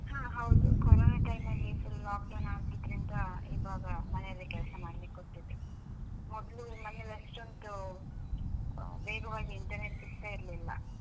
ಹಾ ಹೌದು, corona time ಅಲ್ಲಿ full lockdown ಆಗಿದ್ರಿಂದ ಇವಾಗ ಮನೆಯಲ್ಲೆ ಕೆಲ್ಸ ಮಾಡ್ಲಿಕ್ ಕೊಟ್ಟಿದ್ದು, ಮೊದ್ಲು ಮನೆಯಲ್ಲಿ ಅಷ್ಟೊಂದು ವೇಗವಾಗಿ internet ಸಿಗ್ತಾ ಇರ್ಲಿಲ್ಲ.